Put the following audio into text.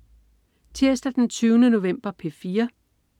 Tirsdag den 20. november - P4: